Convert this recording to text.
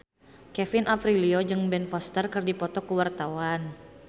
Kevin Aprilio jeung Ben Foster keur dipoto ku wartawan